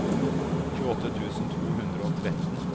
tjueåtte tusen to hundre og tretten